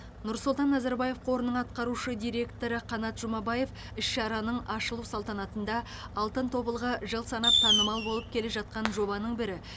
нұрсұлтан назарбаев қорының атқарушы директоры қанат жұмабаев іс шараның ашылу салтанатында алтын тобылғы жыл санап танымал болып келе жатқан жобаның бірі